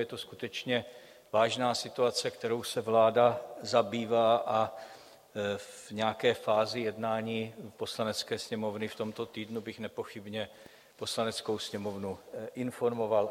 Je to skutečně vážná situace, kterou se vláda zabývá, a v nějaké fázi jednání Poslanecké sněmovny v tomto týdnu bych nepochybně Poslaneckou sněmovnu informoval.